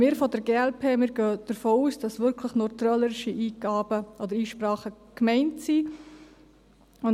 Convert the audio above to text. Wir von der glp gehen davon aus, dass nur trölerische Einsprachen gemeint sind.